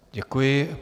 Děkuji.